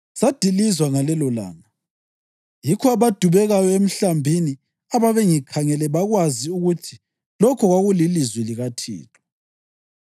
Sadilizwa ngalelolanga, yikho abadubekayo emhlambini ababengikhangele bakwazi ukuthi lokho kwakulilizwi likaThixo.